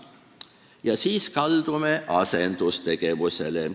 Ja siis kaldume asendustegevusele.